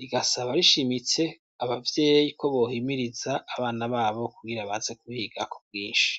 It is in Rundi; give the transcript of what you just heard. rigasaba rishimitse abavyeyi ko bohimiriza abana babo kugira baze kuhiga ku bwinshi.